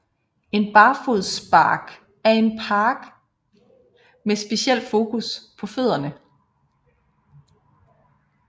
En barfodspark er en park med speciel fokus på fødderne